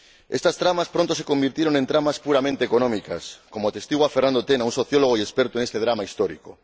Estas tramas pronto se convirtieron en tramas puramente económicas, como atestigua Fernando Tena, un sociólogo y experto en este drama histórico.